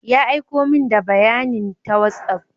Ya aiko min da bayanin ta WhatsApp.